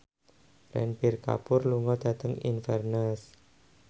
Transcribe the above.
Ranbir Kapoor lunga dhateng Inverness